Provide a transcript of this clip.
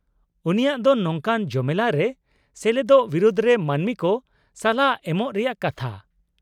-ᱩᱱᱤᱭᱟᱜ ᱫᱚ ᱱᱚᱝᱠᱟᱱ ᱡᱚᱢᱮᱞᱟᱭ ᱨᱮ ᱥᱮᱞᱮᱫᱚᱜ ᱵᱤᱨᱩᱫ ᱨᱮ ᱢᱟᱹᱱᱢᱤ ᱠᱚ ᱥᱟᱞᱦᱟ ᱮᱢᱚᱜ ᱨᱮᱭᱟᱜ ᱠᱟᱛᱷᱟ ᱾